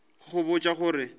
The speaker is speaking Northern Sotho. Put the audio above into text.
go go botša go re